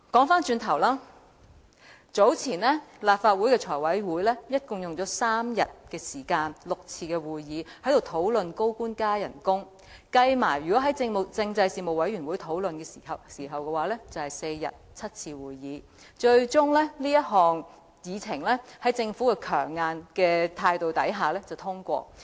話說回來，立法會財務委員會早前共用了3天時間舉行6次會議來討論高官加薪，再加上政制事務委員會討論的時間，共用了4天、7次會議，這項議程最終在政府強硬態度下獲得通過。